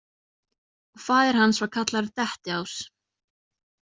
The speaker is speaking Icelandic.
Og faðir hans var kallaður dettiás.